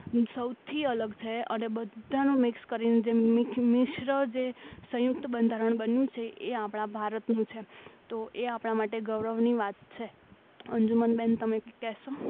સૌથી અલગ છે અને બધું મિક્સ કરીને જે મિશ્ર જે સંયુક્ત બંધારણ બન્યું છે એ આપણા ભારતનું છે તો એ આપણા માટે ગૌરવની વાત છે અંજુમન બહેન તમે કંઈક કહેશો